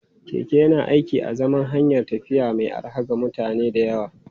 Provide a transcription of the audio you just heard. Keke yana aiki a zaman hanyar tafiya mai arha ga mutane da yawa.